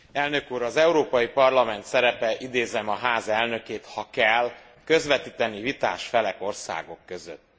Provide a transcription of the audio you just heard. Elnök úr, az Európai Parlament szerepe idézem a Ház elnökét ha kell, közvetíteni vitás felek, országok között.